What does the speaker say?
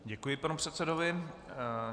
Děkuji panu předsedovi.